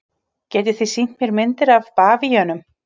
Getið þið sýnt mér myndir af bavíönum?